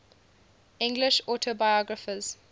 english autobiographers